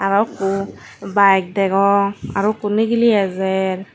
arow ikko bike degong arow ikko nigili ejer.